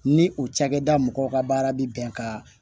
Ni o cakɛda mɔgɔw ka baara bɛ bɛn ka